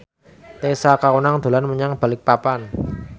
Tessa Kaunang dolan menyang Balikpapan